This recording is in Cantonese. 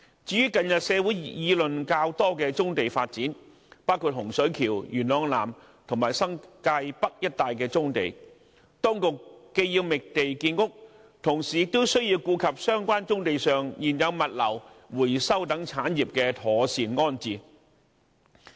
至於近日社會議論較多的棕地發展，包括洪水橋、元朗南和新界北一帶棕地，當局既要覓地建屋，同時亦需顧及相關棕地上現有物流、回收等產業的妥善安置。